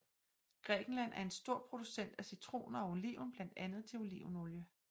Grækenland er en stor producent af citroner og oliven blandt andet til olivenolie